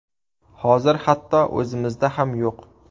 Hozir hatto o‘zimizda ham yo‘q.